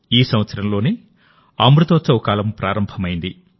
ఈ సంవత్సరంలోనే అమృతోత్సవ కాలం ప్రారంభమైంది